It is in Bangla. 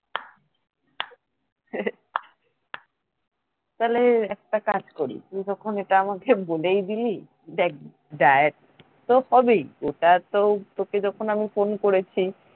তাইলে একটা কাজ করি তুই যখন এটা আমাকে বলেই দিলি দেখ diet তো হবেই এটা তো তোকে যখন আমি phone করেছি